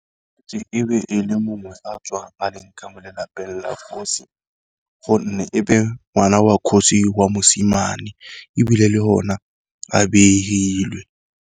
E be e le mongwe a tswa a le ka mo lelapeng la kgosi, gonne ebe ngwana wa kgosi wa mosimane ebile le hona a behilwe.